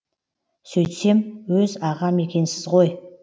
сөйтсем өз ағам екенсіз ғой